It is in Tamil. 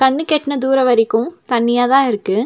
கண்ணுக்கெட்ன தூரொ வரைக்கு தண்ணியாத இருக்கு.